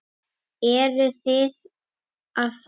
Eruð þið að fara?